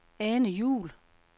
Ane Juhl